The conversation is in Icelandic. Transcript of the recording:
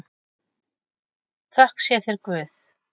Þökk sé þér Guð.